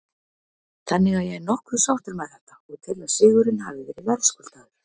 Þannig að ég er nokkuð sáttur með þetta og tel að sigurinn hafi verið verðskuldaður.